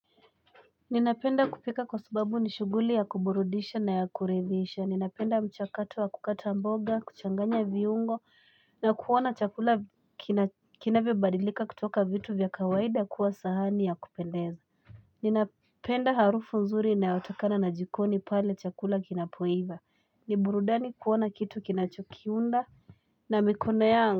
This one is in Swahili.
Ninapenda kupika kwa sababu nishuguli ya kuburudisha na ya kuridhisha. Ninapenda mchakato wa kukata mboga, kuchanganya viungo, na kuona chakula kinavyo badilika kutoka vitu vya kawaida kuwa sahani ya kupendeza. Ninapenda harufu nzuri ina yotakana na jikoni paale chakula kinapoiva. Niburudani kuona kitu kinachokiunda na mikono ya.